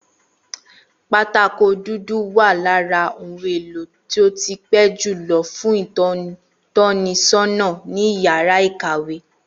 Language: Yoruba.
Pátákó dúdú wà lára ohun èlò tó ti pé julọ fún ìtọ́nisọ́nà ní yàrá ìkàwé